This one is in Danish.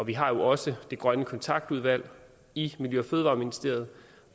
vi har jo også det grønne kontaktudvalg i miljø og fødevareministeriet